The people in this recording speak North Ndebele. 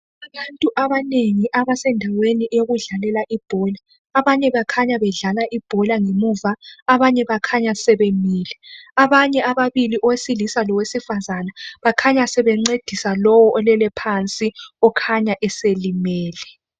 Abantu abanengi abasendaweni yokudlalela ibhola kulabadlala ibhola labamileyo. Ababili owesilisa lowesifazana bancedisa olele phansi olimeleyo.